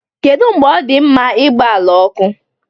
Kedu mgbe ọ dị mma igba ala ọkụ?